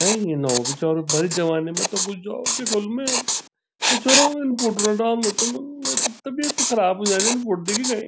हैं इन यु नौ भी छौ अर भरी जवानी मा त गुजौ कि क्वल मी ए छोरों उन फोटो न डाल्नु तुम मेरी त तबियत ख़राब व्येजाणी इं फोटो देखिकै।